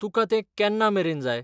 तुकां तें केन्ना मेरेन जाय?